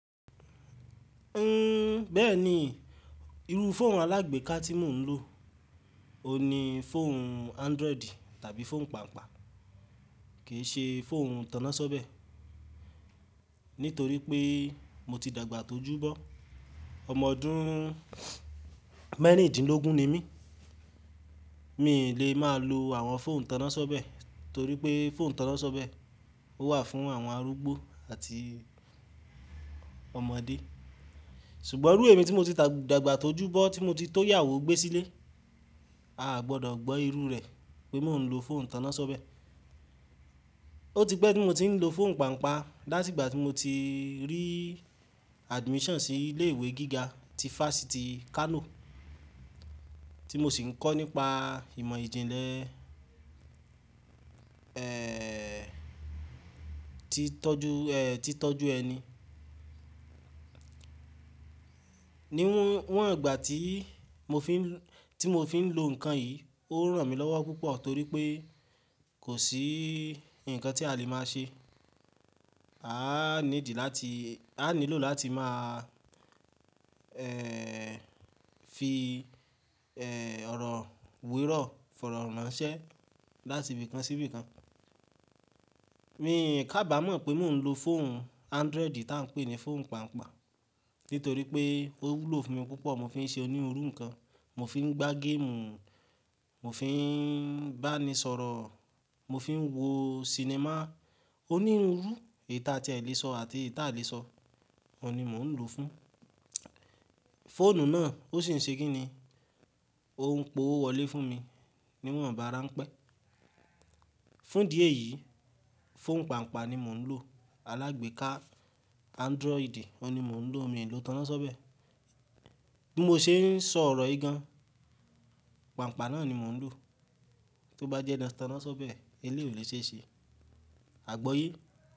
Hhm, bẹ́ẹ̀ ni, irú fóònù alágbèéká tí mò ń lò òun ní fóònù Android tàbí fóònù pàǹpa, kì í ṣe fóònù tannáṣọ́bẹ̀ nítorí pé mo ti dàgbà tó júbọ. Ọmọ ọdún mẹ́rìndínlógún ni mí, mí ì lè máa lo àwọn fóònù ìtannáṣọ́bẹ̀ torí pé fóònù ìtannáṣọ́bẹ̀ ó wà fún àwọn arúgbó àti ọmọdé. Ṣùgbọ́n irú ẹ̀mí tí mo ti dàgbà tó júbọ tí mo ti tó iyàwó gbé sílé, a gbọdọ̀ gbọ́ irú rẹ̀ pé mò ń lo fóònù tannáṣọ́bẹ̀. Ó ti pẹ́ tí mo ti ń lo fóònù pàǹpa láti ìgbà tí mo ti rí admission sí ilé ìwé gíga ti Fásitì Kano tí mo sì ń kọ́ nípa ìmọ̀ ìjìnlẹ̀, ẹ́ ẹ́ ẹ́, tí tọ́ju ẹ́ ẹ́, ti tọ́ju ẹni. Níwọ́n ìgbà tí mo fi ń, tí mo fi ń lo nǹkan yìí ó ń ràn mí lọ́wọ́ púpọ̀ torí pé kò sí nǹkan tí a lè máa ṣe. A á níidi láti, a á nílò láti máa, ẹ́ ẹ́ ẹ́, fi, ẹ́ ẹ́ ẹ́, ọ̀rọ̀ weró fọ̀rọ̀ ránṣẹ́ láti ibìkan sí ibìkan. Mii kàbàámọ̀ pé mò ń lo fóònù Android tá ń pè ní fóònù pàǹpa nítorí pé ó wúlò fún mi púpọ̀, mo fi ń ṣe oníruru nǹkan, mo fi ń gbá geemu, mo fi ń bá ni sọ̀rọ̀, mo fi ń wo sinimá. Ó ní irú iru eyi tí a ti e lè sọ àti eyii ti a lè sọ, òun ni mò ń lò fún. Fóònù náà ó sì ń ṣe kíni, ó ń p'owó wolé fún mi níwọ̀nbá ránpẹ́. Fún idi eyio, fóònù pàǹpa ni mò ń lò alágbèéká Android, òun ni mò ń lò, mi ò lò tannáṣọ́bẹ̀. Bí mo ṣe ń sọ ọ̀rọ̀ yìí gan, pàǹpa náà ni mò ń lò, tó bá jẹ́ tannáṣọ́bẹ̀ eléyio o lè ṣeé ṣe. Àgbọ́ye?